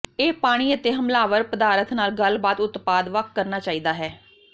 ਇਹ ਪਾਣੀ ਅਤੇ ਹਮਲਾਵਰ ਪਦਾਰਥ ਨਾਲ ਗੱਲਬਾਤ ਉਤਪਾਦ ਵੱਖ ਕਰਨਾ ਚਾਹੀਦਾ ਹੈ